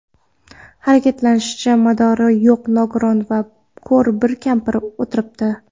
harakatlanishga madori yo‘q nogiron va ko‘r bir kampir o‘tiribdi.